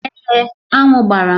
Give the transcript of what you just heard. Èé, aṅụ gbara m